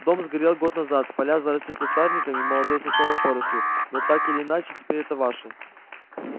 дом сгорел год назад поля заросли кустарником и молодой сосновой порослью но так или иначе теперь это ваше